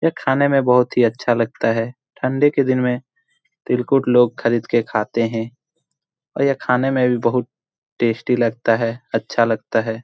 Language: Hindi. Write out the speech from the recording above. यह खाने में बहोत ही अच्छा लगता है। ठंडी के दिन में तिलकुट लोग खरीद के खाते है और यह खाने में भी बहुत टेस्टी लगता है अच्छा लगता है।